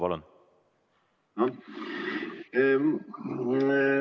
Palun!